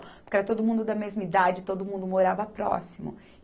Porque era todo mundo da mesma idade, todo mundo morava próximo.